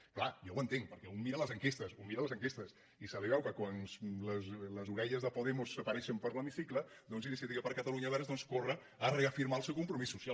és clar jo ho entenc perquè un mira les enquestes un mira les enquestes i quan les orelles de podemos apareixen per l’hemicicle iniciativa per catalunya verds corre a reafirmar el seu compromís social